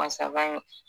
Masakan